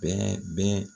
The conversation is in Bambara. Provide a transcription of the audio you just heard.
Bɛɛ bɛ